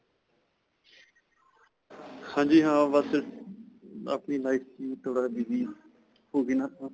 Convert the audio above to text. ਹਾਂਜੀ, ਹਾਂ ਬਸ ਆਪਣੀ life 'ਚ ਹੀ ਥੋੜਾ ਜਿਹਾ busy ਹੋ ਗਏ ਨਾ .